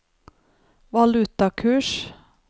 valutakurs